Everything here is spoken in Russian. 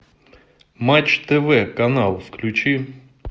матч тв канал включи